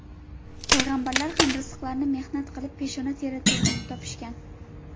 Payg‘ambarlar ham rizqlarini mehnat qilib, peshona teri to‘kib topishgan.